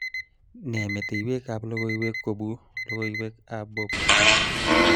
Nee metewekab logoiwek kobu logoiweab Bob